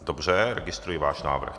Dobře, registruji váš návrh.